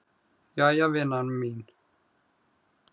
Jæja vina mín.